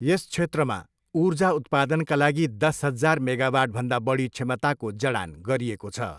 यस क्षेत्रमा ऊर्जा उत्पादनका लागि दस हजार मेगावाटभन्दा बढी क्षमताको जडान गरिएको छ।